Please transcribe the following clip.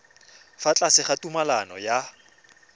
fa tlase ga tumalano ya